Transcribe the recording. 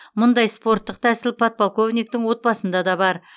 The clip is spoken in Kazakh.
мұндай спорттық тәсіл подполковниктің отбасында да бар